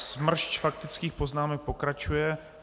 A smršť faktických poznámek pokračuje.